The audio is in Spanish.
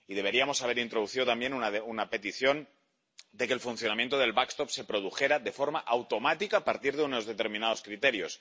Y deberíamos haber introducido también una petición de que el funcionamiento del mecanismo de protección se produjera de forma automática a partir de unos determinados criterios.